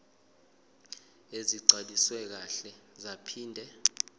ezigcwaliswe kahle zaphinde